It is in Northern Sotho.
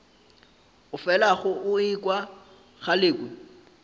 o felago o ekwa galekwe